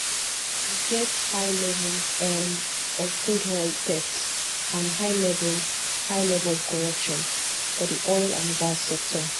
we get high level um of crude oil theft and high level high level of corruption for di oil and gas sector